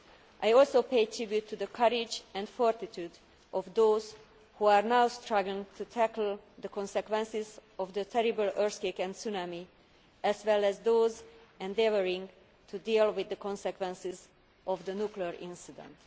I also pay tribute to the courage and fortitude of those who are now struggling to tackle the consequences of the terrible earthquake and tsunami, as well as those endeavouring to deal with the consequences of the nuclear incident.